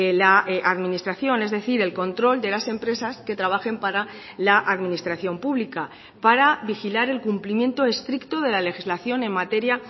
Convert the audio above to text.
la administración es decir el control de las empresas que trabajen para la administración pública para vigilar el cumplimiento estricto de la legislación en materia